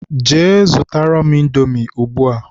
Jee zụtara m Indomi ugbua!